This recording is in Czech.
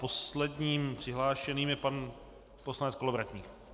Posledním přihlášeným je pan poslanec Kolovratník.